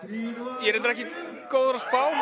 ég er reyndar ekki góður að spá